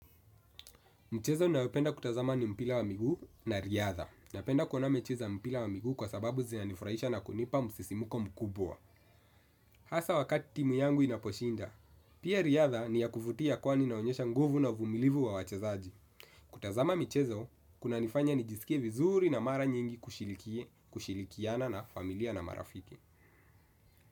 Michezo ninayopenda kutazama ni mpira wa miguu na riadha. Napenda kuona mechi za mpira wa miguu kwa sababu zina nifurahisha na kunipa musisimuko mkubwa. Hasa wakati timu yangu inaposhinda. Pia riadha ni yakuvutia kwani inaonyesha nguvu na vumilivu wa wachezaji. Kutazama michezo, kuna nifanya nijisikie vizuri na mara nyingi kushiriki, kushirikiana na familia na marafiki.